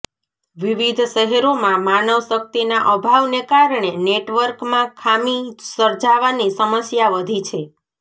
વિવિધ શહેરોમાં માનવ શક્તિના અભાવને કારણે નેટવર્કમાં ખામી સર્જાવાની સમસ્યા વધી છે